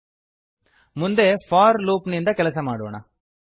ಚಲಿಸುತ್ತದೆ ಮುಂದೆ for loop ನಿಂದ ಕೆಲಸ ಮಾಡೋಣ